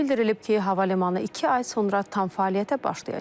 Bildirilib ki, hava limanı iki ay sonra tam fəaliyyətə başlayacaq.